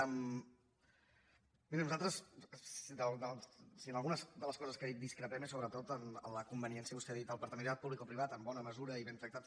miri nosaltres si en alguna de les coses que ha dit discrepem és sobretot en la conveniència vostè ha dit del partenariat publicoprivat en bona mesura i ben tractat